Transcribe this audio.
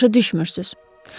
Başa düşmürsünüz.